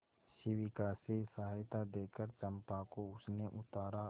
शिविका से सहायता देकर चंपा को उसने उतारा